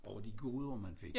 Over de goder man fik